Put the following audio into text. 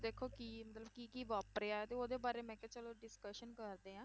ਦੇਖੋ ਕੀ ਮਤਲਬ ਕੀ ਕੀ ਵਾਪਰਿਆ, ਤੇ ਉਹਦੇ ਬਾਰੇ ਮੈਂ ਕਿਹਾ ਚਲੋ discussion ਕਰਦੇ ਹਾਂ।